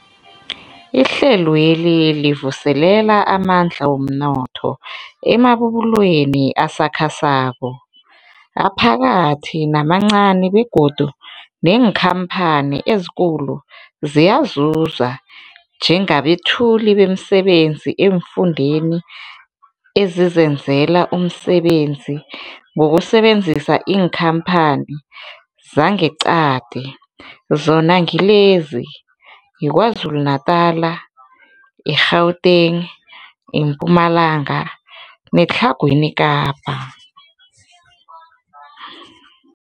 Ihlelweli livuselela amandla womnotho emabubulweni asakhasako, aphakathi namancani begodu neenkhamphani ezikulu ziyazuza njengabethuli bemisebenzi eemfundeni ezizenzela umsebenzi ngokusebenzisa iinkhamphani zangeqadi, zona ngilezi, yiKwaZulu Natala, i-Gauteng, iMpumalanga neTlhagwini Kapa.